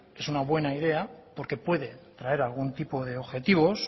es una buena idea porque puede traer algún tipo de objetivos